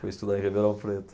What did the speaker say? Foi estudar em Ribeirão Preto.